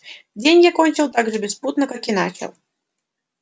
день я кончил так же беспутно как и начал